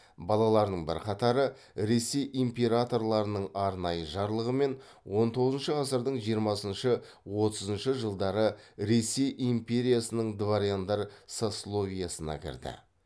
балаларының бірқатары ресей императорларының арнайы жарлығымен он тоғызыншы ғасырдың жиырмасыншы отызыншы жылдары ресей империясының дворяндар сословиесіне кірді